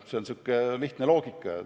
See on niisugune lihtne loogika.